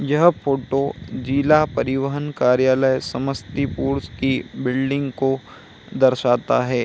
यह फोटो जिला परिवाहन कार्यलय समस्तीपुर की बिल्डिंग को दर्शाता हैं।